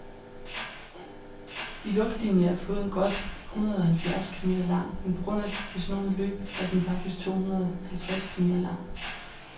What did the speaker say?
I luftlinie er floden godt hundredeoghalvfjerds kilometer lang, men på grund af det snoede løb er den faktisk tohundredeoghalvtreds kilometer lang.